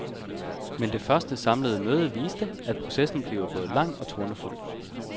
Men det første samlede møde viste, at processen bliver både lang og tornefuld.